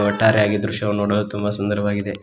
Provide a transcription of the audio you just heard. ಒಟ್ಟಾರೆಯಾಗಿ ಈ ದೃಶ್ಯವನ್ನು ನೋಡಲು ತುಂಬ ಸುಂದರವಾಗಿದೆ.